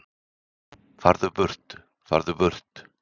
Farðu burt, farðu burt.